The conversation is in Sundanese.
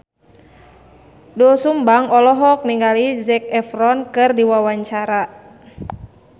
Doel Sumbang olohok ningali Zac Efron keur diwawancara